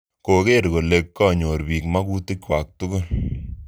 Koker kole kanyor piik makutik kwak tukul.